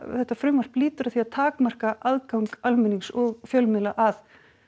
þetta frumvarp lýtur að því að takmarka aðgang almennings og fjölmiðla að